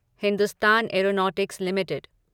Hindustan Aeronautics limited